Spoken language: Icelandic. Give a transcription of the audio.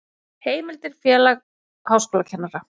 Heimildir Félag háskólakennara.